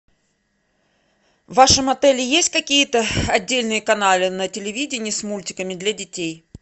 в вашем отеле есть какие то отдельные каналы на телевидении с мультиками для детей